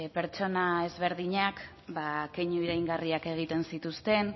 pertsona desberdinak keinu iraingarriak egiten zituzten